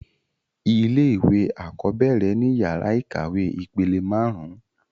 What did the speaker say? Ilé-ìwé àkọ́bẹ́ẹ̀rẹ̀ ni yàrá ìkàwé ìpele máarun